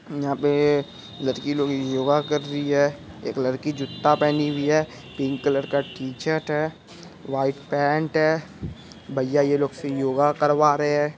यहाँ पे लड़की लोग योगा कर रही हैं एक लड़की जूता पहनी हैं। पिंक कलर का टी शर्ट हैं। व्हाइट पैंट हैं। भैया ये लोग से योगा करवा रहे हैं।